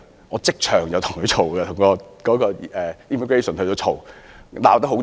我即場與當地入境人員理論，把事情鬧大。